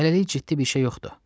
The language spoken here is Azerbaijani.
Hələlik ciddi bir şey yoxdur.